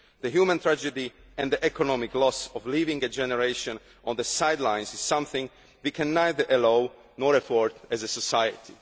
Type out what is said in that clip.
crisis. The human tragedy and the economic loss of leaving a generation on the sidelines is something that we can neither allow, nor afford as a